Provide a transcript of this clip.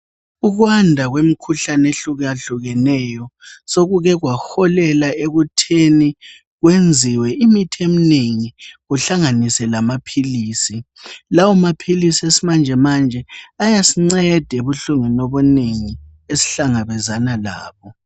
Ukwanda kwemikhuhlane ehlukahlukeneyo, sokuke kwaholela ekutheni kwenziwe imithi eminengi kuhlanganise lamaphilisi. Lawo maphilisi esimanjemanje ayasinceda ebuhlungwini obunengi esihlangabezana labo.